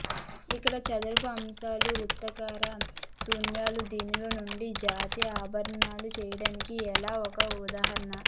ఇక్కడ చదరపు అంశాలు వృత్తాకార శూన్యాలు దీనిలో నుండి జాతి ఆభరణాలు చేయడానికి ఎలా ఒక ఉదాహరణ